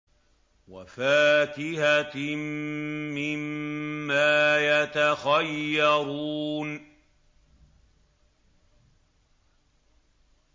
وَفَاكِهَةٍ مِّمَّا يَتَخَيَّرُونَ